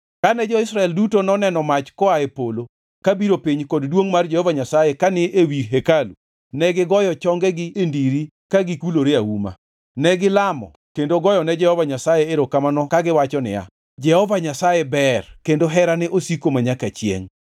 Kane jo-Israel duto noneno mach koa e polo kabiro piny kod duongʼ mar Jehova Nyasaye kani ewi hekalu negigoyo chongegi e ndiri ka gikulore auma. Negilamo kendo goyone Jehova Nyasaye erokamano, kagiwacho niya, “Jehova Nyasaye ber kendo herane osiko manyaka chiengʼ.”